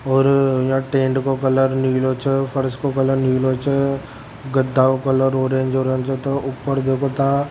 और ये टेंट के कलर नीलो छे फर्स के कलर निलं छे गदा का कलर औरेंज छे ऊपर देखो ता --